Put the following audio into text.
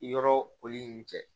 Yɔrɔ poli in cɛ